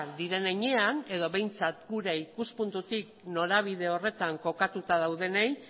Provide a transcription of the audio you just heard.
diren heinean edo behintzat gure ikuspuntutik norabide horretan kokatuta daudenei